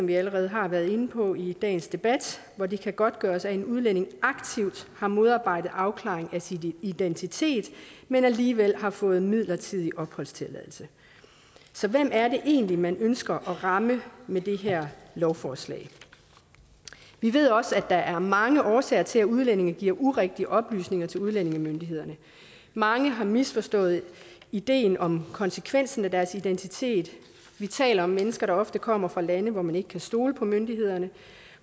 vi allerede har været inde på i dagens debat hvor det kan godtgøres at en udlænding aktivt har modarbejdet en afklaring af sin identitet men alligevel har fået midlertidig opholdstilladelse så hvem er det egentlig man ønsker at ramme med det her lovforslag vi ved også at der er mange årsager til at udlændinge giver urigtige oplysninger til udlændingemyndighederne mange har misforstået ideen om konsekvensen af deres identitet vi taler om mennesker der ofte kommer fra lande hvor man ikke kan stole på myndighederne